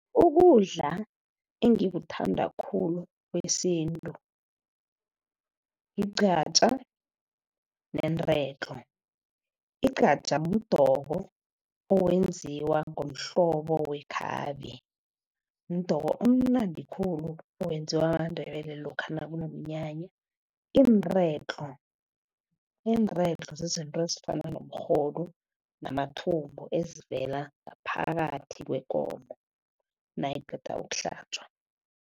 Ukudla engikuthanda khulu kwesintu yigqatjha, neenredlo. Igqatjha mdoko owenziwa ngomhlobo wekhabe. Mdoko omnandi khulu owenziwa maNdebele lokha nakunomnyanya. Iinredlo, inredlo zizinto ezifana nomrhodu namathumbu ezivela ngaphakathi kwekomo, nayiqeda ukuhlatjwa.